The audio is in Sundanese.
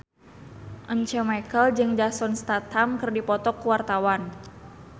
Once Mekel jeung Jason Statham keur dipoto ku wartawan